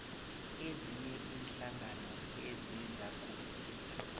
ezinye iinhlangano ezizakusiza